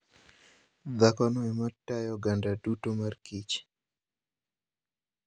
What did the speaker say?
Dhakono ema tayo oganda duto mar kich .